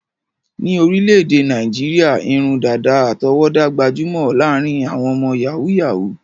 Ní orílẹ̀-èdè Nàìjíríà, irun dàdà àtọwọ́dá gbajúmọ̀ láàárín àwọn ọmọ yàhú-yàhuù.